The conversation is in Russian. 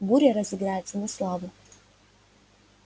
буря разыграется на славу